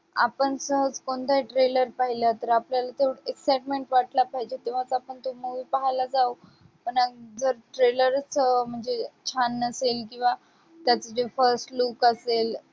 आपण सहज कोणताही trailer पाहिलं तर आपल्याला तो excitement वाटला पाहिजे तेव्हाच आपण तो movie पाहायला जावं पण जर trailer चं म्हणजे छान नसेल किंवा त्यात जे first look असेल,